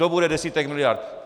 To bude desítek miliard.